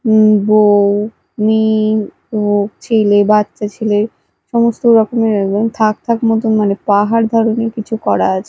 উঁ বউ মেয়ে ও ছেলে বাচ্চা ছেলে সমস্ত রকমের একদম থাক থাক মতন মানে পাহাড় ধরনের কিছু করা আছে।